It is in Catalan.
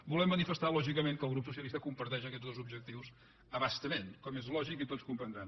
volem manifestar lògicament que el grup socialista comparteix aquests dos objectius a bastament com és lògic i tots comprendran